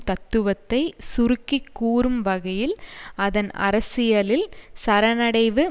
தத்துவத்தைச் சுருக்கி கூறும் வகையில் அதன் அரசியலில் சரண்னடைவு